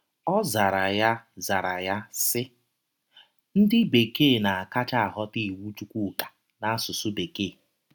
Ọ zara ya zara ya, sị: “ Ndị Bekee na - akacha aghọta iwụ Chụkwụka n’asụsụ Bekee.